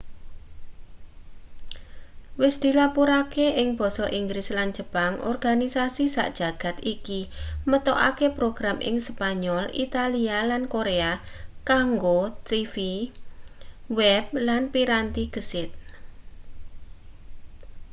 wis dilapurake ing basa inggris lan jepang organisasi sak jagad iki metokake program ing spanyol italia lan korea kanggo tv web lan piranti gesit